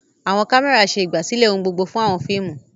Àwọn kámẹ́rà ṣe ìgbàsílẹ̀ ohun gbogbo fún àwọn fíìmù.